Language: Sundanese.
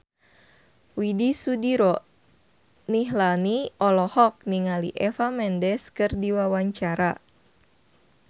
Widy Soediro Nichlany olohok ningali Eva Mendes keur diwawancara